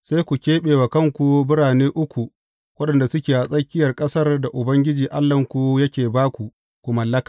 sai ku keɓe wa kanku birane uku waɗanda suke a tsakiyar ƙasar da Ubangiji Allahnku yake ba ku ku mallaka.